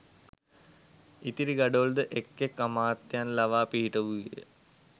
ඉතිරි ගඩොල් ද එක් එක් අමාත්‍යයන් ලවා පිහිටවූයේ ය